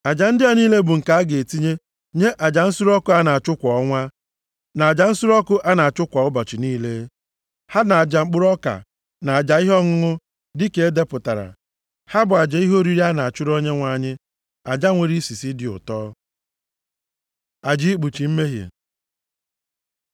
Aja ndị a niile bụ nke a ga-etinye nye nʼaja nsure ọkụ a na-achụ kwa ọnwa, na aja nsure ọkụ a na-achụ ụbọchị niile, ha na aja mkpụrụ ọka, na aja ihe ọṅụṅụ dịka e depụtara. Ha bụ aja ihe oriri a na-achụrụ Onyenwe anyị, aja nwere isisi dị ụtọ. Aja ikpuchi mmehie